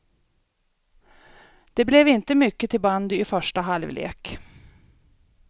Det blev inte mycket till bandy i första halvlek.